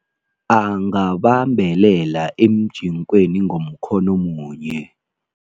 Angabambelela emjinkweni ngomkhono munye.